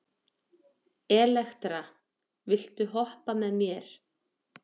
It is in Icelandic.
Elektra, viltu hoppa með mér?